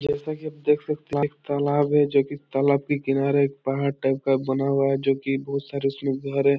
जैसा कि आप देख सकते है वहां एक तालाब है जो कि तालाब के किनारे एक पहाड़ टाइप का बना हुआ है जो कि बहुत सारे उसमें घर है।